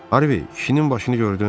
Harvi, işinin başını gördün?